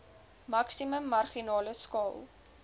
maksimum marginale skaal